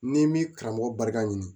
N'i m'i karamɔgɔ barika ɲini